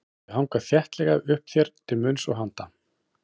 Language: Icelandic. Þau hanga þéttlega uppi þér til munns og handa.